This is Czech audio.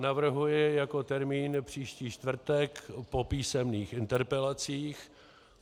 Navrhuji jako termín příští čtvrtek po písemných interpelacích.